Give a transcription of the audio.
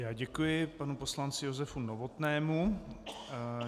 Já děkuji panu poslanci Josefu Novotnému.